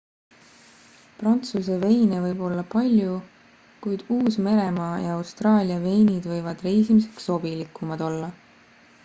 prantsuse veine võib olla palju kuid uus-meremaa ja austraalia veinid võivad reisimiseks sobilikumad olla